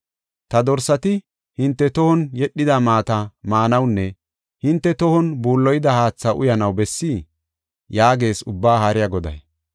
Ta dorsati hinte tohon yedhida maata maanawunne hinte tohon buulloyida haatha uyanaw bessii?” yaagees Ubbaa Haariya Goday.